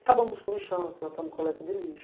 Acabamos com o lixão, plantamos coleta de lixo.